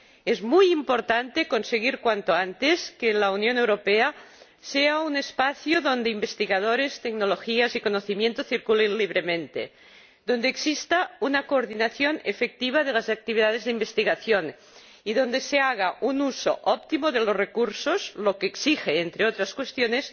Es muy importante conseguir cuanto antes que la Unión Europea sea un espacio donde investigadores, tecnologías y conocimientos circulen libremente, donde exista una coordinación efectiva de las actividades de investigación y donde se haga un uso óptimo de los recursos, lo que exige, entre otras cuestiones,